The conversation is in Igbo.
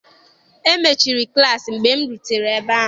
E mechiri klaasị mgbe m rutere ebe ahụ.